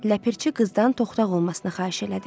Ləpirçi qızdan toxdaq olmasını xahiş elədi.